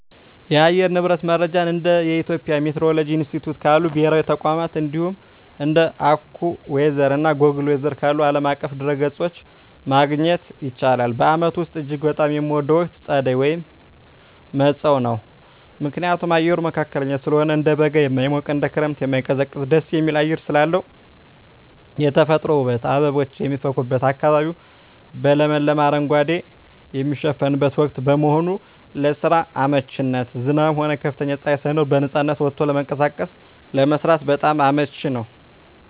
የአየር ንብረት መረጃን እንደ የኢትዮጵያ ሚቲዎሮሎጂ ኢንስቲትዩት ካሉ ብሔራዊ ተቋማት፣ እንዲሁም እንደ AccuWeather እና Google Weather ካሉ ዓለም አቀፍ ድረ-ገጾች ማግኘት ይቻላል። በዓመቱ ውስጥ እጅግ በጣም የምወደው ወቅት ጸደይ (መጸው) ነው። ምክንያቱም፦ አየሩ መካከለኛ ስለሆነ፦ እንደ በጋ የማይሞቅ፣ እንደ ክረምትም የማይቀዘቅዝ ደስ የሚል አየር ስላለው። የተፈጥሮ ውበት፦ አበቦች የሚፈኩበትና አካባቢው በለመለመ አረንጓዴ የሚሸፈንበት ወቅት በመሆኑ። ለስራ አመቺነት፦ ዝናብም ሆነ ከፍተኛ ፀሐይ ሳይኖር በነፃነት ወጥቶ ለመንቀሳቀስና ለመስራት በጣም አመቺ ነው።